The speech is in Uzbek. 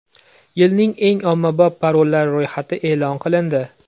Yilning eng ommabop parollari ro‘yxati e’lon qilindi.